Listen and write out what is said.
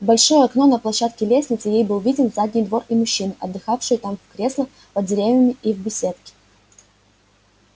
в большое окно на площадке лестницы ей был виден задний двор и мужчины отдыхавшие там в креслах под деревьями и в беседке